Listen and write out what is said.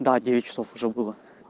да девять часов уже было